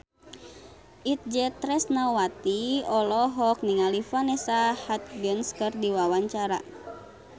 Itje Tresnawati olohok ningali Vanessa Hudgens keur diwawancara